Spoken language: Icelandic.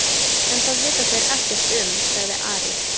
En það vita þeir ekkert um, sagði Ari.